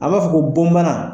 A b'a fɔ ko bɔn bana